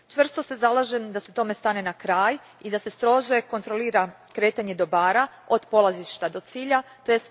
Čvrsto se zalažem da se tome stane na kraj i strože kontrolira kretanje dobara od polazišta do cilja, tj.